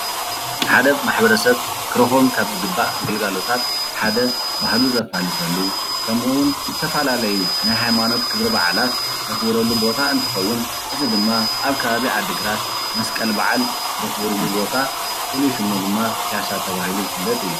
ሓደ ማሕበረስብ ክረኽቦም ካብ ዝግባእ ግልጋሎታት ሓደ ባህሉ ዘፋልጠሉ ከምኡ እውን ዝተፈላለዩ ናይ ሃይማኖት ክብረ በዓላት ዘኽብረሉ ቦታ እንትኸውን እዚ ድማ አብ ከባቢ ዓድግራት መስቀል በዓል ዘኽብሩሉ ቦታ ፉሉይ ሽም ድማ ፕያሳ ተባሂሉ ዝፍለጥ እዩ።